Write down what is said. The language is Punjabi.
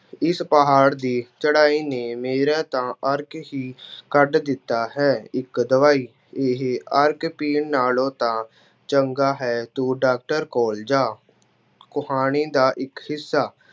ਇਸ ਪਹਾੜ ਦੀ ਚੜ੍ਹਾਈ ਨੇ ਮੇਰਾ ਤਾਂ ਅਰਕ ਹੀ ਕੱਢ ਦਿੱਤਾ ਹੈ। ਇੱਕ ਦਵਾਈ- ਇਹ ਅਰਕ ਪੀਣ ਨਾਲੋਂ ਤਾਂ ਚੰਗਾ ਹੈ ਤੂੰ ਡਾਕਟਰ ਕੋਲ ਜਾ, ਕਹਾਣੀ ਦਾ ਇੱਕ ਹਿੱਸਾ।